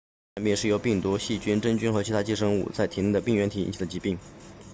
传染病是由包括病毒细菌真菌和其他寄生物在内的病原体引起的疾病